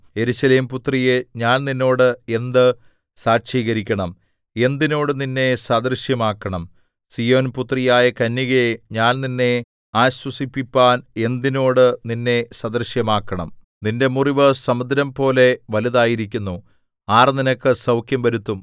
യെരൂശലേം പുത്രിയേ ഞാൻ നിന്നോട് എന്ത് സാക്ഷീകരിക്കണം എന്തിനോട് നിന്നെ സദൃശമാക്കണം സീയോൻപുത്രിയായ കന്യകേ ഞാൻ നിന്നെ ആശ്വസിപ്പിപ്പാൻ എന്തിനോട് നിന്നെ സദൃശ്യമാക്കണം നിന്റെ മുറിവ് സമുദ്രംപോലെ വലുതായിരിക്കുന്നു ആർ നിനക്ക് സൗഖ്യം വരുത്തും